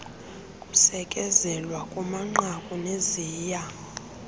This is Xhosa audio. kusekezelwa kumanqaku neziya